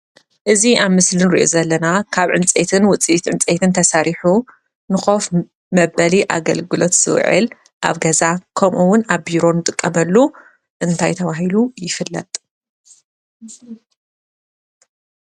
እዚ ኣብ ምስሊ እንሪኦ ዘለና ካብ ዕንፀይትን ውፅኢት ዕንፀይትን ተሰሪሑ ንኮፍ መበሊ ኣገልግሎት ዝውዕልገ ዛ ከምኡ እውን ኣብ ቢሮን እንጥቀመሉ እንታይ ተባሂሉ ይፍለጥ ?